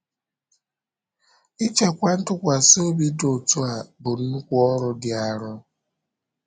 Ịchekwa ntụkwasị obi dị otu a bụ nnukwu ọrụ dị arọ.